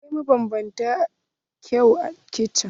Akwai mabanbantan kayan kicin.